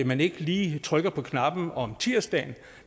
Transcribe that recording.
man ikke lige trykker på knappen om tirsdagen